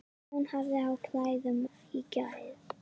Hún hafði á klæðum í gær.